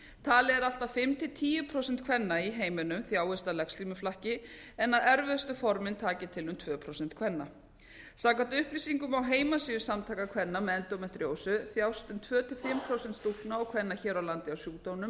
talið er að allt að fimm til tíu prósent kvenna í heiminum þjáist af legslímuflakki en að erfiðustu formin taki til um tvö prósent kvenna samkvæmt upplýsingum á heimasíðu samtaka kvenna með endómetríósu þjást um tvö til fimm prósent stúlkna og kvenna hér á landi af sjúkdómnum